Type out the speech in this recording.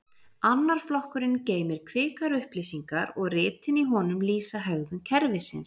annar flokkurinn geymir kvikar upplýsingar og ritin í honum lýsa hegðun kerfisins